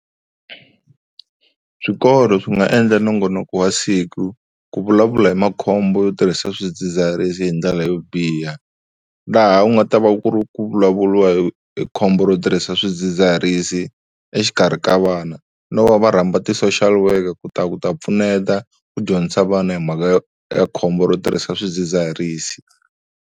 Swikolo swi nga endla nongonoko wa siku ku vulavula hi makhombo yo tirhisa swidzidziharisi hi ndlela yo biha. Laha u nga ta va ku ri ku vulavuriwa hi khombo ro tirhisa swidzidziharisi exikarhi ka vana, no va va rhamba ti-social worker ku ta ku ta pfuneta ku dyondzisa vana hi mhaka ya khombo ro tirhisa swidzidziharisi.